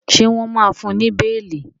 ṣe wón má fún ní beeli?